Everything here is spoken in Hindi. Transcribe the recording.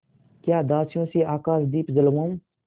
या दासियों से आकाशदीप जलवाऊँ